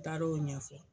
N taar'o ɲɛfɔ